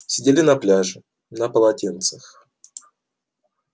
сидели на пляже на полотенцах